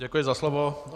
Děkuji za slovo.